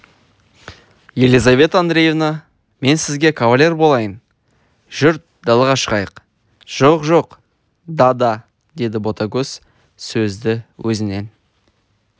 елизавета андреевна мен сізге кавалер болайын жүр далаға шығайық жоқ жоқ да-да деді ботагөз сөзді өзінен